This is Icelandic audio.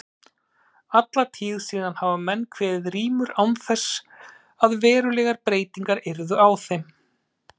Alla tíð síðan hafa menn kveðið rímur án þess að verulegar breytingar yrðu á þeim.